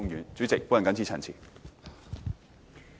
代理主席，我謹此陳辭。